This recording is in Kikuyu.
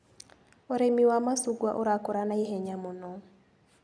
ũrĩmi wa macungwa ũrakũra na ihenya mũno.